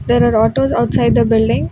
There are autos outside the building.